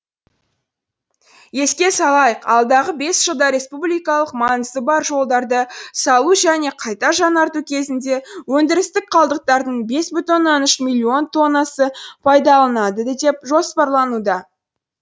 еске салайық алдағы бес жылда республикалық маңызы бар жолдарды салу және қайта жаңарту кезінде өндірістік қалдықтардың бес бүтін оннан үш миллион тоннасы пайдалынылады деп жоспарлануда